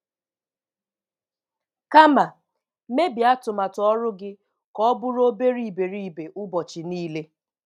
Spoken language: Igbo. Kama, mebie atụmatụ ọrụ gị ka ọ bụrụ obere iberibe ụbọchị niile